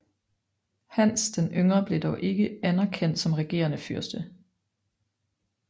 Hans den Yngre blev dog ikke anerkendt som regerende fyrste